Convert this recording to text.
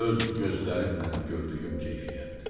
Öz gözlərimlə gördüyüm keyfiyyətdir.